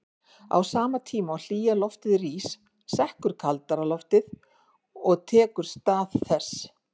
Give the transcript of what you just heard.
Á sama tíma og hlýja loftið rís sekkur kaldara loft og tekur stað þess.